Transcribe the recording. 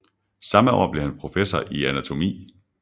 Samme år blev han professor i anatomi